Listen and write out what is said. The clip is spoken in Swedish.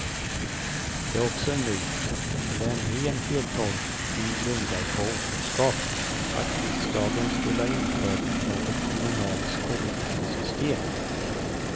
Det är också en myt, eller en ren feltolkning grundad på okunskap, att riksdagen skulle ha infört något kommunalt skolpengsystem.